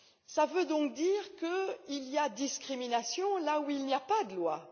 Cela veut donc dire qu'il y a discrimination là où il n'y a pas de loi.